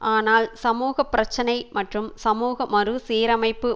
ஆனால் சமூக பிரச்சனை மற்றும் சமூக மறு சீரமைப்பு